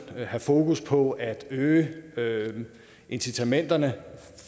have fokus på at øge øge incitamenterne